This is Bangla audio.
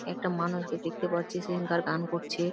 একটা মানুষ কে দেখতে পাচ্ছি সিঙ্গার গান করছে।